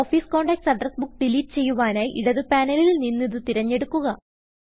office contacts address book delete ചെയ്യുവനായി ഇടത് പാനലിൽ നിന്നിത് തിരഞ്ഞെടുക്കുക